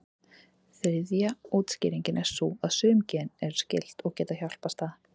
Þriðja útskýringin er sú að sum gen eru skyld, og geta hjálpast að.